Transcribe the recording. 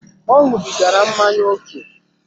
Ọ ñubigara mmanya ókè